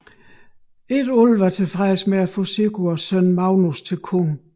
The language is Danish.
Ikke alle var tilfredse med at få Sigurds søn Magnus til konge